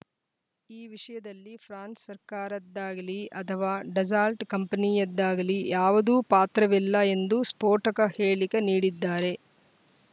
ಈ ವಿಷಯದಲ್ಲಿ ಫ್ರಾನ್ಸ‌ ಸರ್ಕಾರದ್ದಾಗಲೀ ಅಥವಾ ಡಸಾಲ್ಟ್‌ ಕಂಪನಿಯದ್ದಾಗಲೀ ಯಾವುದು ಪಾತ್ರವಿಲ್ಲ ಎಂದು ಸ್ಫೋಟಕ ಹೇಳಿಕೆ ನೀಡಿದ್ದಾರೆ